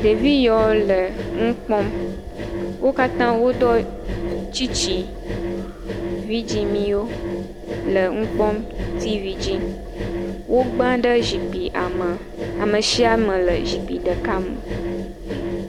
Ɖevi yewo le nu kpɔm, wo katã woɖɔ tsitsi vidzɛ̃miwo le nu kpɔm, tivi dzi. Wogba ɖe zikpuia me, ame sia ame le zikpui ɖeka me.